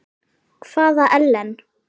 Hvaða Ellen?